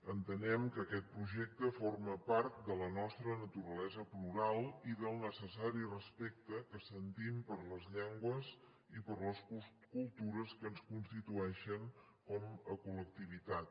entenem que aquest projecte forma part de la nostra naturalesa plural i del necessari respecte que sentim per les llengües i per les cultures que ens constitueixen com a col·lectivitat